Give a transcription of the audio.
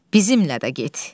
Bizimlə də get.